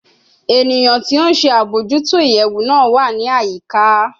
Eniyan ti o nṣe abojuto iyẹwu naa wa ni ayika